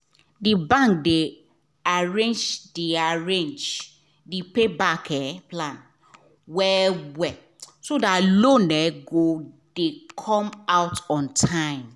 d bank de arrange de arrange the payback um plan well well so that loan go um dey come out on time